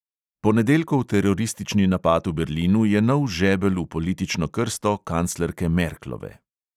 Ponedeljkov teroristični napad v berlinu je nov žebelj v politično krsto kanclerke merklove.